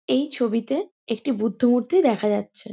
এই ছবিতে একটি বুদ্ধ মূর্তি দেখা যাচ্ছে